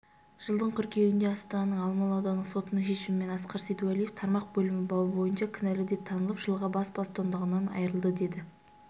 жылдың қыркүйегінде астананың алмалы аудандық сотының шешімімен асқар сейдуәлиев тармақ бөлім бабы бойынша кінәлі деп танылып жылға бас бостандығынан айырылды деді